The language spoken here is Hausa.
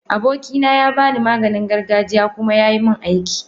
Abokina ya bani Maganin gargajiya kuma yayi mun aiki.